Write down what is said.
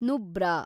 Nubra